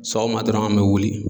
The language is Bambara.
Sɔgɔma dɔrɔn an bɛ wuli.